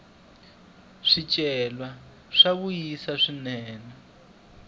swicelwa swa vuyerisa swinene